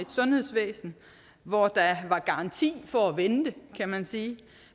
sundhedsvæsen hvor der var garanti for at vente kan man sige